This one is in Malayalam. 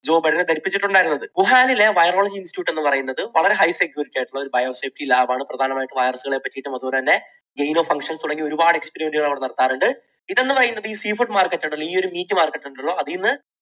ജോ ബൈഡനെ ധരിപ്പിച്ചിട്ടുണ്ടായിരുന്നത്. വുഹാനിലെ virology institute എന്നുപറയുന്നത് വളരെ high security ആയിട്ടുള്ള ഒരു bio safety lab ണ്. പ്രധാനമായിട്ടും virus കളെ പറ്റിയിട്ടും അതുപോലെതന്നെ genome function തുടങ്ങി ഒരുപാട് experiment കൾ അവിടെ നടത്താറുണ്ട്. ഇത് എന്ന് പറയുന്നത് ഈ sea food market ഉണ്ടല്ലോ ഈ ഒരു meat market ഉണ്ടല്ലോ അതിൽ നിന്ന്